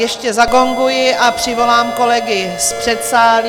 Ještě zagonguji a přivolám kolegy z předsálí.